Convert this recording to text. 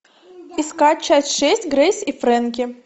искать часть шесть грейс и фрэнки